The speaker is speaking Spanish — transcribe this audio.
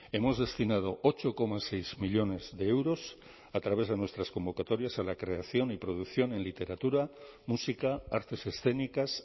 hemos destinado ocho coma seis millónes de euros a través de nuestras convocatorias a la creación y producción en literatura música artes escénicas